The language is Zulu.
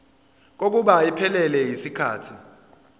kokuba iphelele yisikhathi